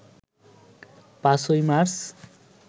৫ই মার্চ